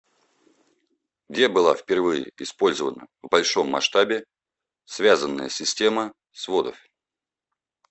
где была впервые использована в большом масштабе связанная система сводов